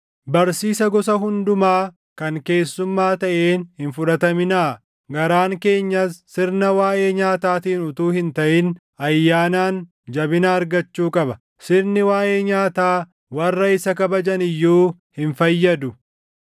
Barsiisa gosa hundumaa kan keessummaa taʼeen hin fudhataminaa. Garaan keenyas sirna waaʼee nyaataatiin utuu hin taʼin ayyaanaan jabina argachuu qaba; sirni waaʼee nyaataa warra isa kabajan iyyuu hin fayyadu.